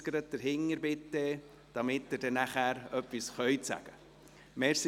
Bitte jetzt gleich dahintergehen, damit Sie dann nachher etwas sagen können.